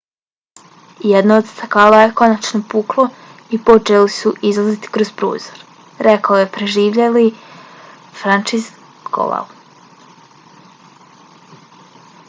jedno od stakala je konačno puklo i počeli su izlaziti kroz prozor, rekao je preživjeli franciszek kowal